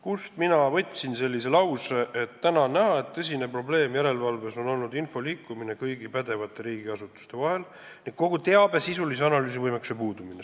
Kust mina võtsin sellise lause: "Täna on näha, et tõsine probleem järelevalves on olnud info liikumine kõigi pädevate riigiasutuste vahel ning kogu teabe sisulise analüüsi võimekuse puudumine.